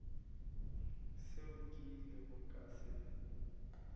seo ke ilego ka se